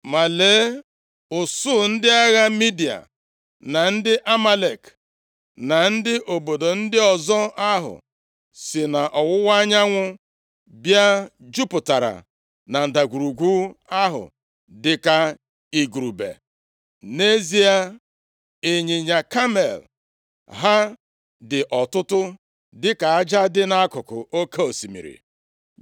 Ma lee, usuu ndị agha Midia, na ndị Amalek, na ndị obodo ndị ọzọ ahụ si nʼọwụwa anyanwụ bịa jupụtara na ndagwurugwu ahụ dị ka igurube. Nʼezie, ịnyịnya kamel ha dị ọtụtụ, dịka aja dị nʼakụkụ oke osimiri.